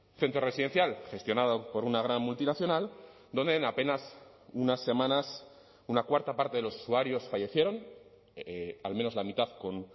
centro residencial gestionado por una gran multinacional donde en apenas unas semanas una cuarta parte de los usuarios fallecieron al menos la mitad con